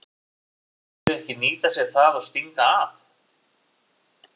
En mun liðið ekki nýta sér það og stinga af?